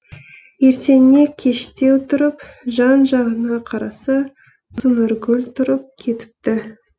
ертеңіне кештеу тұрып жан жағына қараса сонаргүл тұрып кетіпті